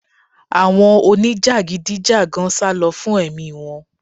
Àwọn onijagidi jagan salo fún ẹ̀mí wọ́n